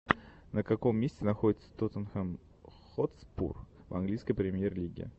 на каком месте находится тоттенхэм хотспур в английской премьер лиги